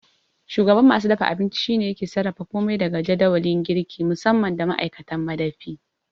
Shugaban masu dafa abinci shine yake sarrafa komai daga jadawali, girki musamman da ma'aikatan madafi.